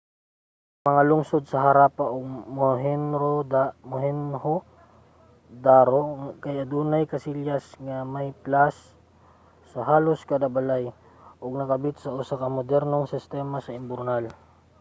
ang mga lungsod sa harappa ug mohenjo-daro kay adunay kasilyas nga may plas sa halos kada balay ug nakabit sa usa ka modernong sistema sa imburnal